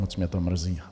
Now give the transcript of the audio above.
Moc mě to mrzí.